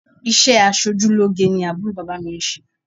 Ìṣe aṣojúlóge ni àbúrò bàbá mi ń ṣe